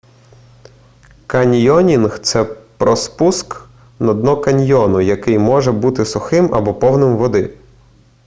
каньйонінг це про спуск на дно каньйону який може бути сухим або повним води